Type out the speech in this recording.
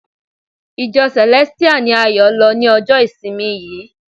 Ìjọ Celestial ni Ayo lọ ni ọjọ ìsinmi yìí.